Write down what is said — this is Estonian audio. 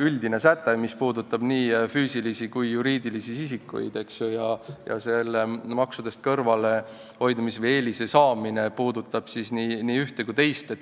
üldine säte, mis puudutab nii füüsilisi kui ka juriidilisi isikuid, ja maksudest kõrvalehoidmise võimalus või eelise saamine puudutab nii ühte kui ka teist.